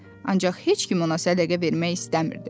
Ancaq heç kim ona sədəqə vermək istəmirdi.